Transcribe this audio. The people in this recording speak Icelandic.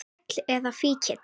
Þræll eða fíkill.